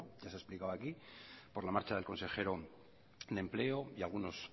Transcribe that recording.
ya se ha explicado aquí por la marcha del consejero de empleo y algunos